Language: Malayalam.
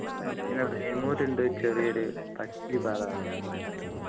പിന്നെ വേമ്മൂര് ഉണ്ട് ചെറിയൊരു പക്ഷി പാതാളം